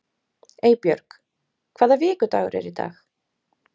Eybjörg, hvaða vikudagur er í dag?